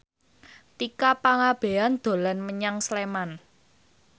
Tika Pangabean dolan menyang Sleman